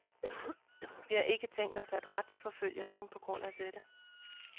Vi har ikke tænkt os at retsforfølge nogen på grund af dette.